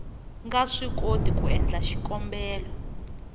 nga swikoti ku endla xikombelo